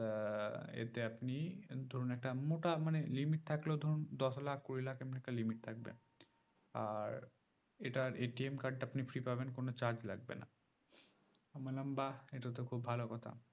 আহ এতে আপনি ধরুন একটা মোটা মানে limit থাকলেও ধরুন দশ লাখ কুড়ি লাখ এমন একটা limit থাকবে আর এটার card তা আপনি free পাবেন কোনো charge লাগবে না আমি বললাম বাহ্ এটাতো খুব ভালো কথা